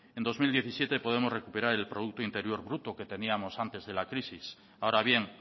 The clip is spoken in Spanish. en dos mil diecisiete podemos recuperar el producto interior bruto que teníamos antes de la crisis ahora bien